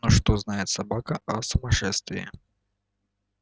но что знает собака о сумасшествии